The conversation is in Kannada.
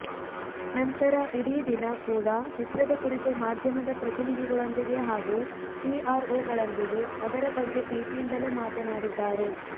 ನಂತರ ಇಡೀ ದಿನ ಕೂಡ ಚಿತ್ರದ ಕುರಿತು ಮಾಧ್ಯಮದ ಪ್ರತಿನಿಧಿಗಳೊಂದಿಗೆ ಹಾಗೂ ಪಿಆರ್ ಓಗಳೊಂದಿಗೆ ಅದರ ಬಗ್ಗೆ ಪ್ರೀತಿಯಿಂದಲೇ ಮಾತನಾಡಿದ್ದಾರೆ